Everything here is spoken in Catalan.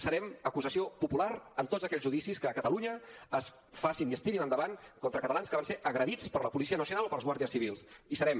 serem acusació popular en tots aquells judicis que a catalunya es facin i es tirin endavant contra catalans que van ser agredits per la policia nacional o pels guàrdies civils hi serem